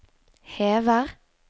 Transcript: hever